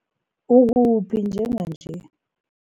Ukuphi njenganje?